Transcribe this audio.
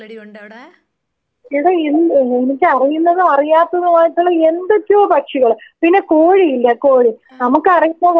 എടാ എന്ത് ഏ എനിക്കറിയുന്നതും അറിയാത്തതുമായിട്ടുള്ള എന്തൊക്കെയോ പക്ഷികള് പിന്നെ കോഴി ഇല്ലേ കോഴി നമുക്കറിയുന്ന കോഴീന്നു പറഞ്ഞാ എന്താണ്.